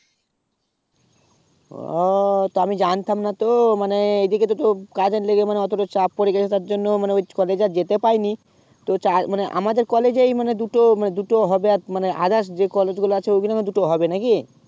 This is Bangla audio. ও তো আমি জানতাম, না তো মানে এইদিকে তো কাজ এ লেগেই মানে এতটা চাপ পরে গেছে তার জন্যমানে ওই college এ যেতে পাইনি তো মানে আমাদের college এই দুটো দুটো হজরাত মানে others যে college গুলো আছে ঐগুলোতে দুটো হবে নাকি